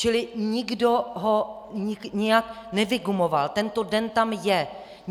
Čili nikdo ho nijak nevygumoval, tento den tam je.